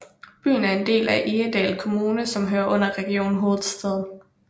Byen er en del af Egedal Kommune som hører under Region Hovedstaden